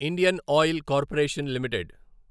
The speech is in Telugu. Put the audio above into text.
Indian oil corporation limited